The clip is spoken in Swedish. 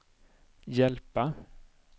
hjälpa